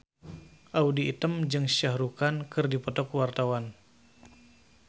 Audy Item jeung Shah Rukh Khan keur dipoto ku wartawan